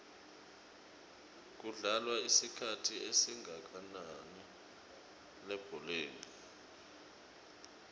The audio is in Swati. kudlalwa isikhathi esingakananilebholeni